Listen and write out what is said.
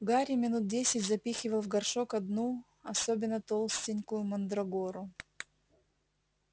гарри минут десять запихивал в горшок одну особенно толстенькую мандрагору